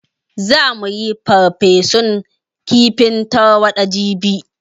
Za mu yi farfesun kifin tarwaɗa jibi